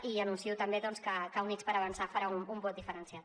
i anuncio també doncs que units per avançar farà un vot diferenciat